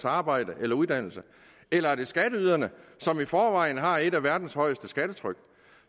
arbejde eller uddannelse eller er det skatteyderne som i forvejen har et af verdens højeste skattetryk